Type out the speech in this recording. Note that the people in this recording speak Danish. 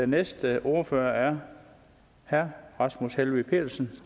næste ordfører er herre rasmus helveg petersen